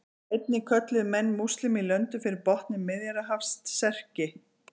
Einnig kölluðu menn múslíma í löndunum fyrir botni Miðjarðarhafs Serki.